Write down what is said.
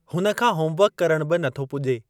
हुन खां होम-वर्कु करणु बि नथो पुॼे।